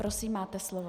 Prosím, máte slovo.